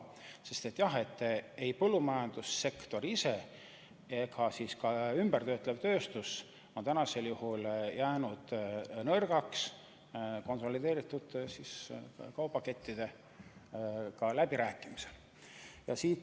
Sest jah, põllumajandussektor ise ja ka töötlev tööstus on konsolideerunud kaubakettidega läbirääkimistel nõrgaks jäänud.